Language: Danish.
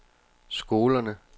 skolerne